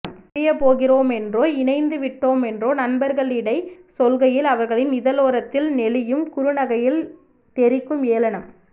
பிரியப்போகிறோமென்றோ இணைந்துவிட்டோமென்றோ நண்பர்களிடை சொல்கையில் அவர்களின் இதழோரத்தில் நெளியும் குறுநகையில் தெரிக்கும் ஏளனம்